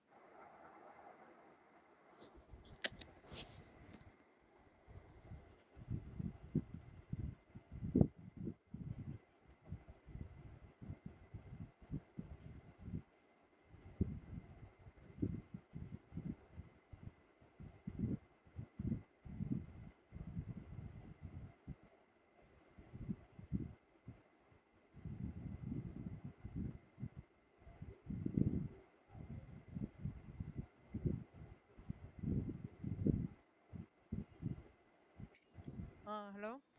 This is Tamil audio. ஆஹ் hello